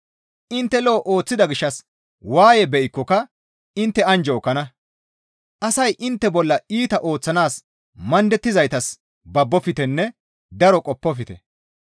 Intte lo7o ooththida gishshas waaye be7ikkoka intte anjjo ekkana; asay intte bolla iita ooththanaas mandettizayssas babboftenne daro qoppofte.